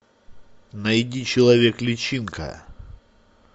найди человек личинка